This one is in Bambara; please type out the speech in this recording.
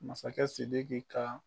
Masakɛ Sidiki ka